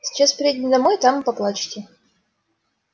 сейчас приедем домой там и поплачете